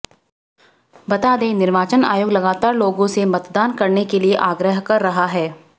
बता दें निर्वाचन आयोग लगातार लोगों से मतदान करने के लिए आग्रह कर रहा है